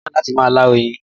Mo fẹ́ràn láti máa lá oyin